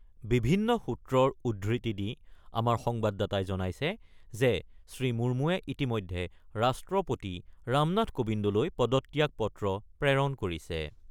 বিভিন্ন সূত্ৰৰ উদ্ধৃতি দি আমাৰ সংবাদ দাতাই জনাইছে যে শ্ৰীমুৰ্মুৱে ইতিমধ্যে ৰাষ্ট্ৰপতি ৰামনাথ কোৱিন্দলৈ পদত্যাগ পত্ৰ প্ৰেৰণ কৰিছে।